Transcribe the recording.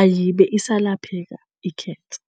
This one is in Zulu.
ayibe isalapheka ikhensa.